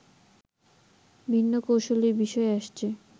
ভিন্ন কৌশলের বিষয় আসছে